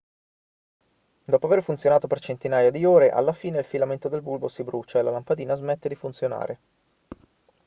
dopo aver funzionato per centinaia di ore alla fine il filamento del bulbo si brucia e la lampadina smette di funzionare